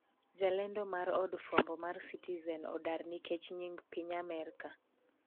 jalendo mar od fwambo mar Citizen odar nikech nying Piny Amerka